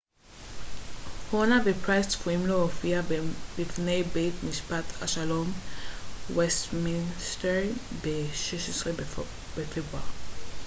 הונה ופרייס צפויים להופיע בפני בית משפט השלום בווסטמינסטר ב-16 בפברואר